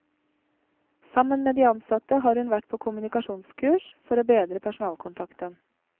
Sammen med de ansatte har hun vært på kommunikasjonskurs for å bedre personalkontakten.